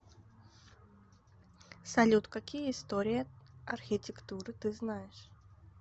салют какие история архитектуры ты знаешь